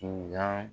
Tun ka